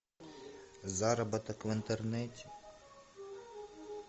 заработок в интернете